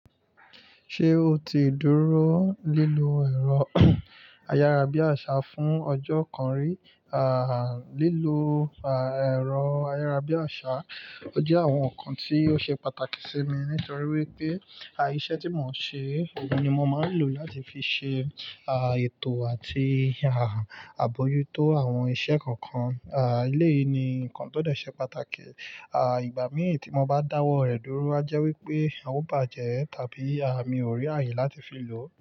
Ṣé o ti dúró lílo ẹ̀rọ ayárabíàṣá fún ọjọ́ kan rí? À, lílo, à, ẹ̀rọ ayárabíàṣá jẹ́ àwọn nǹkan tí ó ṣe pàtàkì sí mi nítorí wípé, aiṣẹ́ tí mò ń ṣe, òun ni mò máa ń lò láti fi ṣe, à, ètò àti, à, àbojútó àwọn iṣẹ́ kọ̀ọ̀kan. Eléyìí ni nǹkan tó dẹ̀ ṣe pàtàkì. À, ìgbà mí ì tí mò bá dáwọ́ rẹ̀ dúró, àjẹ́ wípé a ó bàjẹ́ tàbí, à, mi ò rí àyè láti fi lò ó.